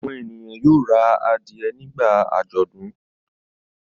Àwọn ènìyàn yóò ra adìẹ nígbà àjọ̀dún.